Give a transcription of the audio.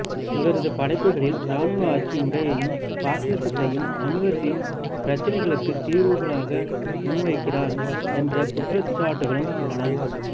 இவரது படைப்புகளில் ராணுவ ஆட்சி முறையையும் பாசிசத்தையும் சமூகத்தின் பிரச்சனைகளுக்கு தீர்வுகளாக முன்வைக்கிறார் என்ற குற்றச்சாட்டுகளும் உள்ளன